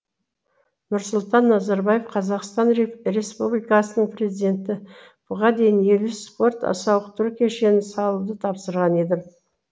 нұрсұлтан назарбаев қазақстан республикасының президенті бұған дейін елу спорт сауықтыру кешенін салуды тапсырған едім